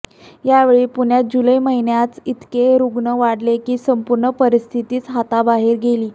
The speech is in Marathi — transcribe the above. याचवेळी पुण्यात जुलै महिन्यातच इतके रुग्ण वाढले की संपूर्ण परिस्थितीच हाताबाहेर गेली